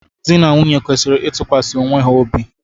Di na nwunye kwesịrị ịtụkwasị onwe ha obi.